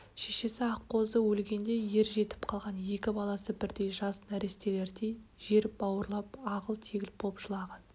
шешесі аққозы өлгенде ер жетіп қалған екі баласы бірдей жас нәрестелердей жер бауырлап ағыл-тегіл боп жылаған